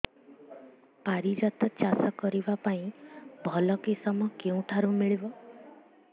ପାରିଜାତ ଚାଷ କରିବା ପାଇଁ ଭଲ କିଶମ କେଉଁଠାରୁ ମିଳିବ